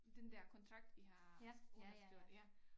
Den der kontrakt vi har underskrevet ja